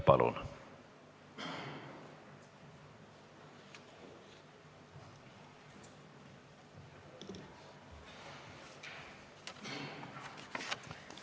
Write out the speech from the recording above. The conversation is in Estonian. Palun!